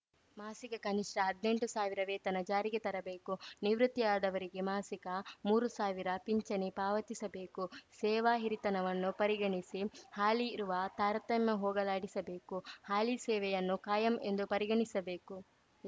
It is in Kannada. ಮಾಸಿಕ ಕನಿಷ್ಠ ಹದ್ನೆಂಟು ಸಾವಿರ ವೇತನ ಜಾರಿಗೆ ತರಬೇಕು ನಿವೃತ್ತಿ ಆದವರಿಗೆ ಮಾಸಿಕ ಮೂರು ಸಾವಿರ ಪಿಂಚಣಿ ಪಾವತಿಸಬೇಕು ಸೇವಾ ಹಿರಿತನವನ್ನು ಪರಿಗಣಿಸಿ ಹಾಲಿ ಇರುವ ತಾರತಮ್ಯ ಹೋಗಲಾಡಿಸಬೇಕು ಹಾಲಿ ಸೇವೆಯನ್ನು ಕಾಯಂ ಎಂದು ಪರಿಗಣಿಸಬೇಕು